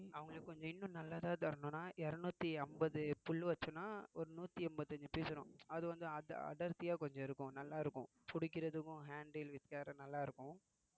அவங்களுக்கு கொஞ்சம் இன்னும் நல்லதா தரணும்னா இருநூத்தி ஐம்பது புல் வச்சோம்ன்னா ஒரு நூத்தி எண்பத்தி அஞ்சு piece வரும் அடர்~ அடர்த்தியா கொஞ்சம் இருக்கும் நல்லா இருக்கும் புடிக்கிறதுக்கும் handle with care நல்லா இருக்கும்